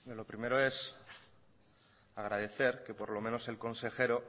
lo primero es agradecer que por lo menos el consejero